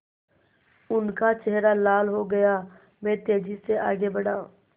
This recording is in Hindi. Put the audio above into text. उनका चेहरा लाल हो गया मैं तेज़ी से आगे बढ़ा